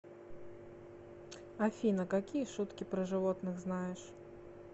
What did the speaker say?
афина какие шутки про животных знаешь